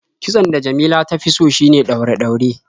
Kitson da Jamila ta fi so shine ɗaure-ɗaure.